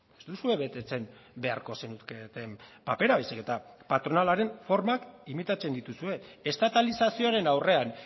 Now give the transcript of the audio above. ez duzue betetzen beharko zenuketen papera baizik eta patronalaren formak imitatzen dituzue estatalizazioaren aurrean